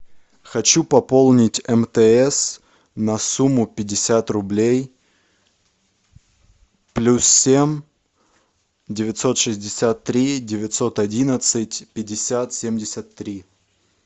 хочу пополнить мтс на сумму пятьдесят рублей плюс семь девятьсот шестьдесят три девятьсот одиннадцать пятьдесят семьдесят три